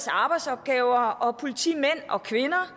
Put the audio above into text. arbejdsopgaver og politimænd og kvinder